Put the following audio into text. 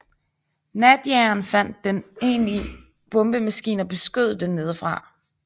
Natjageren fandt den enlige bombemaskine og beskød den nedefra